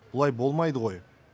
бұлай болмайды ғой